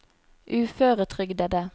uføretrygdede